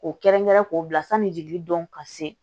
K'o kɛrɛnkɛrɛn k'o bila sanni jigili dɔn ka se